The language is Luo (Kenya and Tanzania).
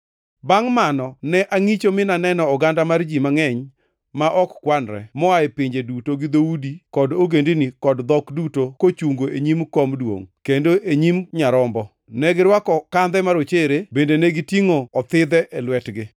Bangʼ mani ne angʼicho, mi naneno oganda mar ji mangʼeny ma ok kwanre moa e pinje duto gi dhoudi kod ogendini kod dhok duto kochungo e nyim kom duongʼ, kendo e nyim Nyarombo. Negirwako kandhe marochere bende negitingʼo othidhe e lwetgi.